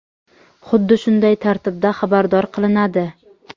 xuddi shunday tartibda xabardor qilinadi.